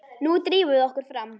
Nú drífum við okkur fram!